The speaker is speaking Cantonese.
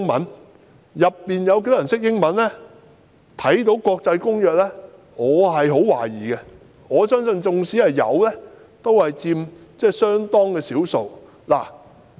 至於當中有多少人懂英文，並看得懂國際公約，我抱有很大疑問，我相信即使有，也只佔相當少數。